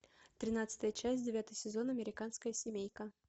тринадцатая часть девятый сезон американская семейка